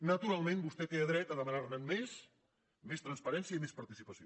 naturalment vostè té dret a demanar ne més més transparència i més participació